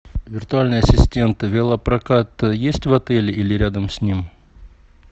виртуальный ассистент велопрокат есть в отеле или рядом с ним